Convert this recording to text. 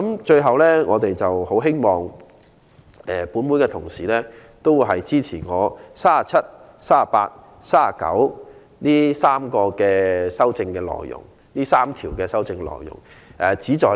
最後，我們很希望本會同事支持我就《條例草案》第37、38及39條提出的修正案。